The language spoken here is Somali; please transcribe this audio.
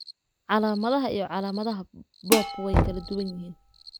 Calaamadaha iyo calaamadaha BOOP way kala duwan yihiin.